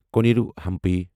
Koneru Hampi